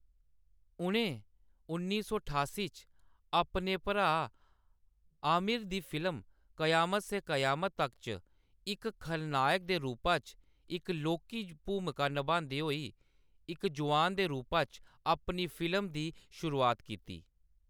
उʼनें उन्नी सौ ठास्सी च अपने भ्राऽ आमिर दी फिल्म क़यामत से क़यामत तक च इक खलनायक दे रूपा च इक लौह्‌‌‌की भूमका नभांदे होई इक जुआन दे रूपा च अपनी फिल्म दी शुरुआत कीती।